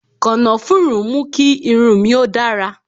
Kànáfùrú mú kí irun mi ó dára